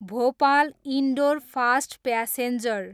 Bhopal, Indore fast passenger